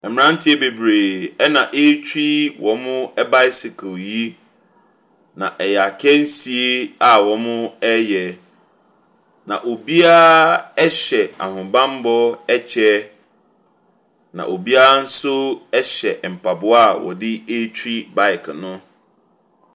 Mmeranteɛ bebree na ɛretwi wɔn bicycle yi, na ɛyɛ akansie wɔreyɛ. Na obiara hyɛ ahobammɔ kyɛ, na obiara nso hyɛ mpaboa wɔde ɛretwi baeke no.